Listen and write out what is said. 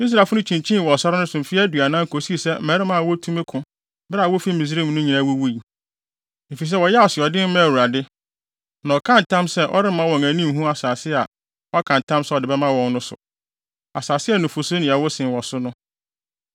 Israelfo no kyinkyinii wɔ sare no so mfe aduanan kosii sɛ mmarima a wotumi ko bere a wɔrefi Misraim no nyinaa wuwui. Efisɛ wɔyɛɛ asoɔden maa Awurade, na ɔkaa ntam sɛ ɔremma wɔn ani nhu asase a waka ntam sɛ ɔde bɛma wɔn no so, asase a nufusu ne ɛwo sen wɔ so no.